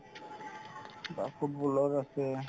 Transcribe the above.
বা football ৰ আছে